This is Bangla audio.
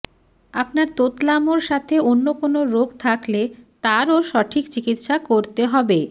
আপনার তোতলামোর সাথে অন্য কোনো রোগ থাকলে তারও সঠিক চিকিৎসা করতে হবে